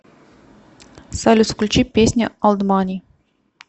салют включи песня олд мани